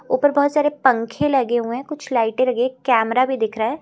ऊपर बहोत सारे पंखे लगे हुए हैं कुछ लाइटे लगे है कैमरा भी दिख रहा है।